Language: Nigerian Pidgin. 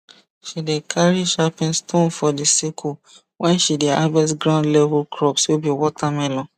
she dey carry sharpen stone for the sickle when she dey harvest ground level crops wey be watermelon